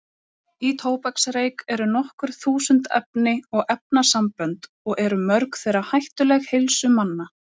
Í tóbaksreyk eru nokkur þúsund efni og efnasambönd og eru mörg þeirra hættuleg heilsu manna.